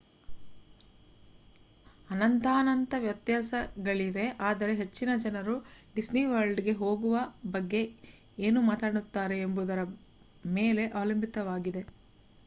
ಅನಂತಾನಂತ ವ್ಯತ್ಯಾಸಗಳಿವೆ ಆದರೆ ಹೆಚ್ಚಿನ ಜನರು ಡಿಸ್ನಿ ವರ್ಲ್ಡ್‌ಗೆ ಹೋಗುವ ಬಗ್ಗೆ ಏನು ಮಾತನಾಡುತ್ತಾರೆ ಎಂಬುದರ ಮೇಲೆ ಅವಲಂಬಿತವಾಗಿದೆ